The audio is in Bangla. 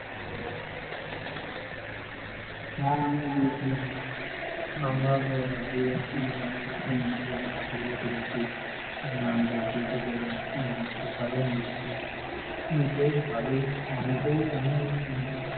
হ্যাঁ আমরা ও গিয়েছিলাম আমরা গিয়ে বিভিন্ন মন্দিরে ছবি ও তুলেছি, নাম জপের ধারন ও করেছি. বেশ ভালোই হয় ওখানে